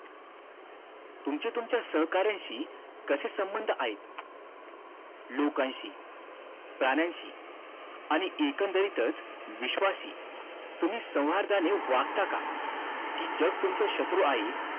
तुमची तुमच्या सहकार्यानंशी कसे संबंध आहेत लोकांशी प्राण्याशी आणि एकंदरीतच विश्वासी तुम्ही संवर्धनाने वागता का कि जग तुमचं शत्रू आहे